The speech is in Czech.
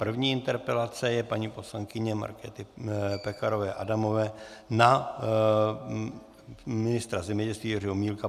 První interpelace je paní poslankyně Markéty Pekarové Adamové na ministra zemědělství Jiřího Milka.